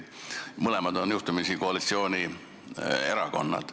Mõlemad on juhtumisi koalitsioonierakonnad.